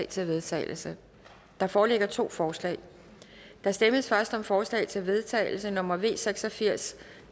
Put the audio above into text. til vedtagelse der foreligger to forslag der stemmes først om forslag til vedtagelse nummer v seks og firs